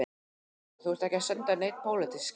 Kristján: Þú ert ekki að senda nein pólitísk skilaboð?